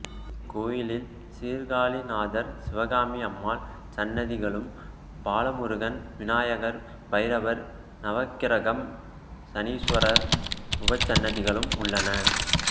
இக்கோயிலில் சீர்காழிநாதர் சிவகாமி அம்மாள் சன்னதிகளும் பாலமுருகன் விநாயகர் பைரவர் நவக்கிரகம் சனீஸ்வரர் உபசன்னதிகளும் உள்ளன